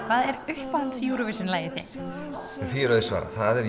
hvað er uppáhalds Eurovision lagið þitt því er auðsvarað það er